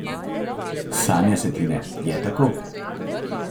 Sanja se ti ne, je tako?